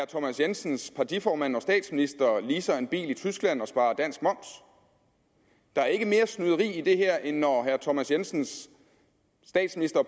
thomas jensens partiformand statsministeren leaser en bil i tyskland og sparer dansk moms der er ikke mere snyderi i det her end når herre thomas jensens